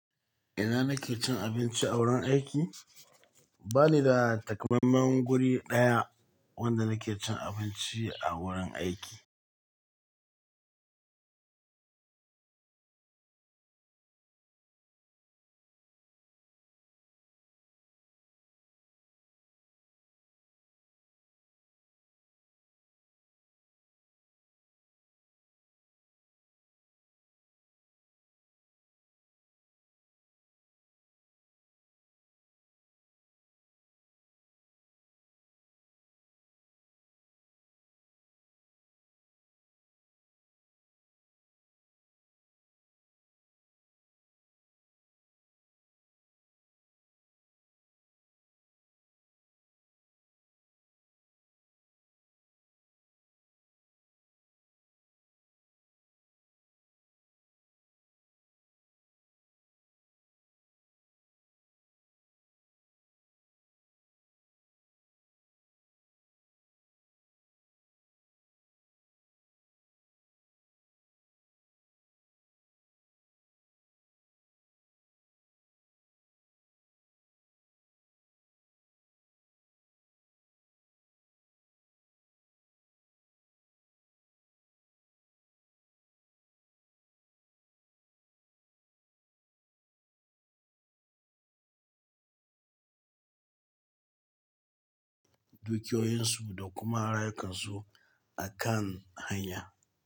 Ina nake cin abinci a wurin aiki? Ba ni da takammamen guri ɗaya wanda nake cin abinci a wurin aiki. Dukiyo yin su da kuma rayukansu akan hanya.